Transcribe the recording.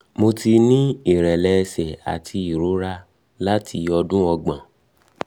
um mo ti ní ìrẹ́lẹ̀ ẹ̀sẹ̀ àti ìrora láti odun ogbon